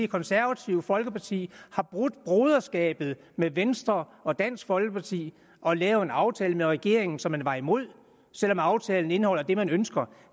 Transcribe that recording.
konservative folkeparti har brudt broderskabet med venstre og dansk folkeparti og lavet en aftale med regeringen som man var imod selv om aftalen indeholder det man ønsker